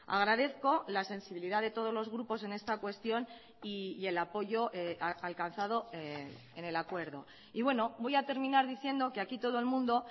agradezco la sensibilidad de todos los grupos en esta cuestión y el apoyo alcanzado en el acuerdo y bueno voy a terminar diciendo que aquí todo el mundo